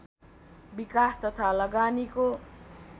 विकास तथा लगानीको